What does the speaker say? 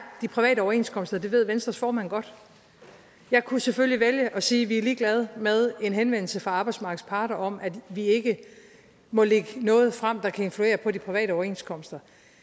de private overenskomster det ved venstres formand godt jeg kunne selvfølgelig vælge at sige vi er ligeglade med en henvendelse fra arbejdsmarkedets parter om at vi ikke må lægge noget frem der kan influere på de private overenskomster